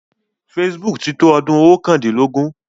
Facebook ti tó ọdún oókàndínlógún.